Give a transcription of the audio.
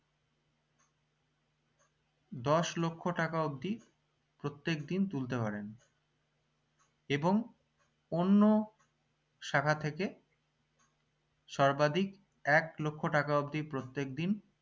দশ লক্ষ্য টাকা অবদি প্রত্যেক দিন তুলতে পারেন এবং অন্য শাখা থেকে সর্বাধিক এক লক্ষ্য টাকা অবদি প্রত্যেক দিন